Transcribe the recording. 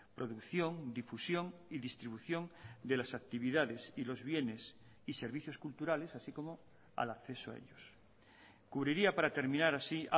producción difusión y distribución de las actividades y los bienes y servicios culturales así como al acceso a ellos cubriría para terminar así